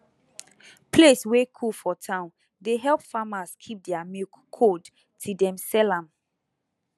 place wey cool for town dey help farmers keep their milk cold till dem sell am